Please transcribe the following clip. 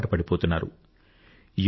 దానికి అలవాటు పడిపోతున్నారు